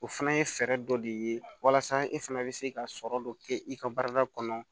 O fana ye fɛɛrɛ dɔ de ye walasa e fana bɛ se ka sɔrɔ dɔ kɛ i ka baarada kɔnɔ